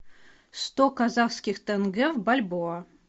сто казахских тенге в бальбоа